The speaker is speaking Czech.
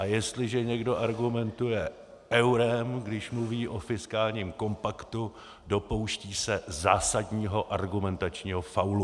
A jestliže někdo argumentuje eurem, když mluví o fiskálním kompaktu, dopouští se zásadního argumentačního faulu.